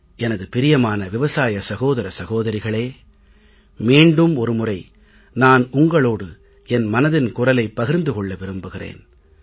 எனது பிரியமான விவசாய சகோதர சகோதரிகளே மீண்டும் ஒரு முறை நான் உங்களோடு என் மனதின் குரலைப் பகிர்ந்து கொள்ள விரும்புகிறேன்